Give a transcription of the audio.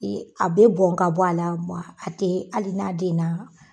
A bɛ bɔn ka bɔ a la mɛ a a tɛ hali n'a den na